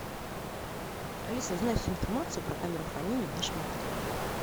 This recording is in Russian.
алиса узнай всю информацию про камеру хранения в нашем отеле